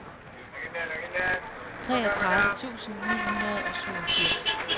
treogtredive tusind ni hundrede og syvogfirs